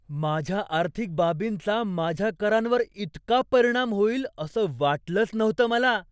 माझ्या आर्थिक बाबींचा माझ्या करांवर इतका परिणाम होईल असं वाटलंच नव्हतं मला.